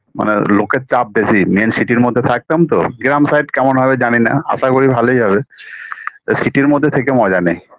মানে লোকের চাপ বেশি main city -র মধ্যে থাকতাম তো গ্রাম sight কেমন হবে জানিনা আশা করি ভালই হবে city -র মধ্যে থেকে মজা নেই